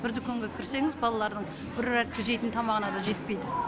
бір дүкенге кірсеңіз балалардың бір жейтін тамағына да жетпейді